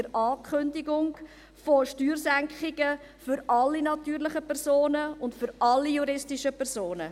der Ankündigung – von Steuersenkungen für alle natürlichen Personen und alle juristischen Personen.